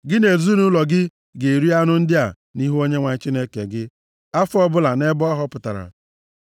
Gị na ezinaụlọ gị ga-eri anụ ndị a nʼihu Onyenwe anyị Chineke gị afọ ọbụla nʼebe ọ họpụtara.